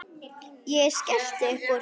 Ég skellti uppúr.